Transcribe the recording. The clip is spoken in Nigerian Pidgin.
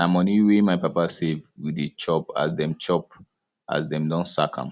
na moni wey my papa save we dey use chop as dem chop as dem don sack am